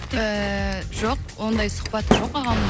ыыы жоқ оңдай сұхбат жоқ ағамның